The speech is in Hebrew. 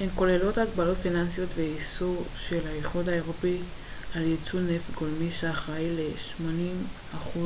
הן כוללות הגבלות פיננסיות ואיסור של האיחוד האירופי על ייצוא נפט גולמי שאחראי ל-80%